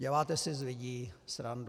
Děláte si z lidí srandu.